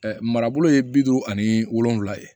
marabolo ye bi duuru ani wolonvila ye